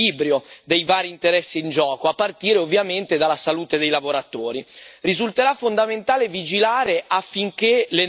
Risulterà fondamentale vigilare affinché le norme siano messe adeguatamente in pratica, coinvolgendo le parti sociali.